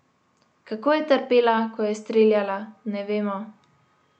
Kako je trpela, ko je streljala, ne vemo.